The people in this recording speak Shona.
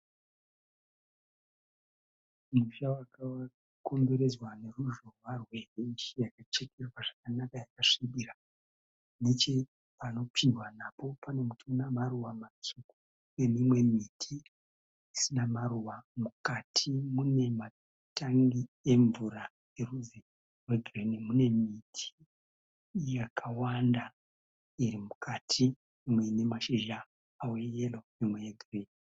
Musha waka komberedzwa neruzhowa rweheji yaka chekererwa zvakanaka yakasvibira. Neche panopindwa napo pane muti una maruva matsvuku. Nemimwe miti isina maruva. Mukati mune matangi emvura erudzi rwe girinhi. Mune miti yakawanda iri mukati mimwe ine mashizha eyero mimwe e gireyi.